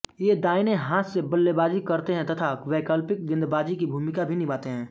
ये दाईनें हाथ से बल्लेबाजी करते हैं तथा वैकल्पिक गेंदबाजी की भूमिका भी निभाते हैं